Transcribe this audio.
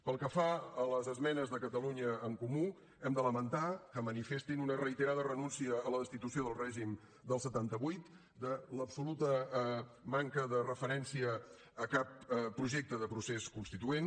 pel que fa a les esmenes de catalunya en comú hem de lamentar que manifestin una reiterada renuncia a la destitució del règim del setanta vuit de l’absoluta manca de referència a cap projecte de procés constituent